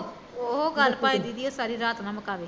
ਉਹ ਗੱਲ ਭਾਂਵੇ ਦੀਦੀ ਏਹ ਸਾਰੀ ਰਾਤ ਨਾ ਮੁਕਾਵੇ